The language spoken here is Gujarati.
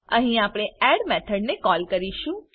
અહી આપણે એડ મેથોડ ને કોલ કરીશું